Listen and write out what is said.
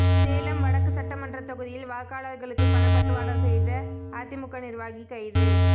சேலம் வடக்கு சட்டமன்ற தொகுதியில் வாக்காளர்களுக்கு பணப்பட்டுவாடா செய்த அதிமுக நிர்வாகி கைது